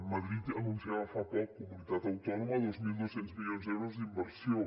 madrid anunciava fa poc comunitat autònoma dos mil dos cents milions d’euros d’inversió